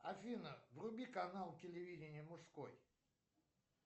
афина вруби канал телевидения мужской